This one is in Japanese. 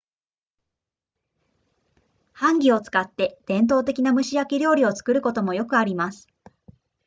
ハンギを使って伝統的な蒸し焼き料理を作ることもよくあります